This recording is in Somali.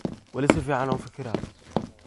Wali sificn ufikiraya.